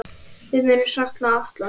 Við munum sakna Atla.